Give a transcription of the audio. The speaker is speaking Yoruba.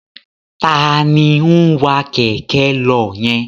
Taàní ń wá Kẹ̀kẹ́ lọ yẹn?